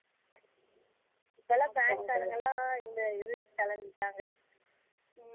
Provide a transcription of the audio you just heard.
இப்போலாம் bank காரங்கலாம் இந்த இதுக்கு கெளம்பிட்டாங்க ஹம்